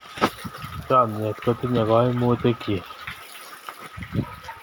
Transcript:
Chomnyet kotinyei kaimutiikchi.